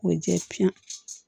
K'o jɛ piɲɛ